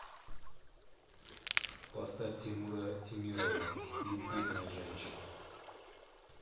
поставь тимура темирова любимая женщина